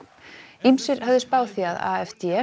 ýmsir höfðu spáð því að